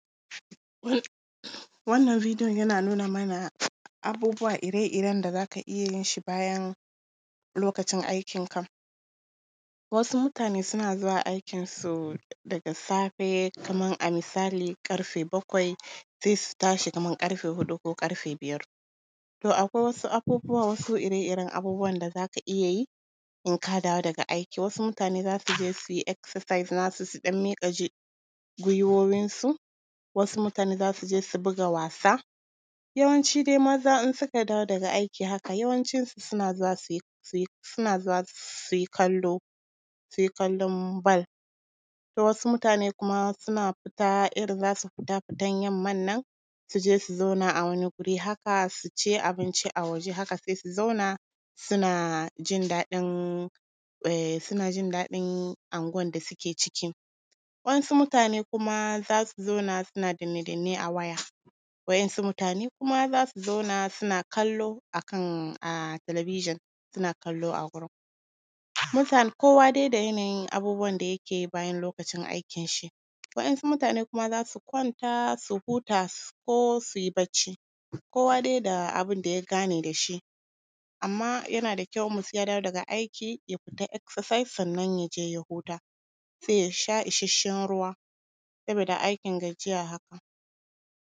Wannan videon yana nuna mana, abubuwa ire-iren da za ka iya yin shi bayan lokacin aikinka. Wasu mutane suna zuwa aikinsu daga safe, kaman a misali ƙarfe bakwai, sai su tashi kaman ƙarfe huɗu ko ƙarfe biyar. To akwai wasu abubuwa, wasu ire-iren abubuwan da za ka iya yi, in ka dawo daga aiki, wasu mutane za su je su yi exercise na su, su ɗan miƙe gwiwoyinsu, wasu mutane za su je su buga wasa, yawanci dai maza in suka dawo daga aiki haka, yawancinsu suna zuwa su yi… suna zuwa su yi kallo su yi kallo bal. Wasu mutane kuma suna fita, irin za su fita, fitan yamman nan, su je su zauna a wani wuri haka, su ci abinci a waje haka, sai su zauna suna jin daɗin… suna jin daɗin unguwan da suke ciki. Waɗansu mutane kuma za su zauna suna danne-danne a waya, waɗansu mutane kuma za su zauna, suna kallo a kan television, suna kallo a gurin. Mutane… kowa dai da yaayin abubuwan da yake yi bayan lokacin aikinshi, waɗansu mutane kuma za su kwanta, za su huta ko su yi barci, kowa dai da abin da ya gane da shi. Amma yana da kyau, in mutum ya dawo daga aiki, ya fita exercise, sannan ya je ya huta, sai ya sha isasshen ruwa, sabida aikin gajiya haka.